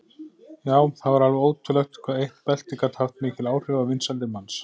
Já, það var alveg ótrúlegt hvað eitt belti gat haft mikil áhrif á vinsældir manns.